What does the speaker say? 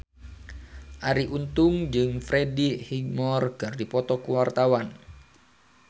Arie Untung jeung Freddie Highmore keur dipoto ku wartawan